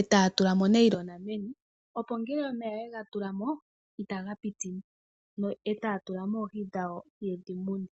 e taya tu lamo onayilona meni opo ngele omeya oye ga tulamo itaga pitimo e taya tulamo oohi dhawo ye dhi mune.